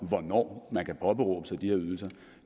hvornår man kan påberåbe sig de her ydelser